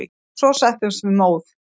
Svo settumst við móð.